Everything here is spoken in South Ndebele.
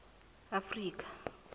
afrika